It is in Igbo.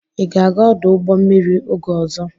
Ị ga-aga ọdụ ụgbọ mmiri oge ọzọ?